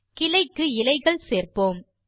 கிளைக்கு இலைகள் சேர்ப்போம்